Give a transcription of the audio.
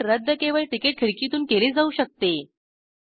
ticket रद्द केवळ ticket खिडकीतून केले जाऊ शकते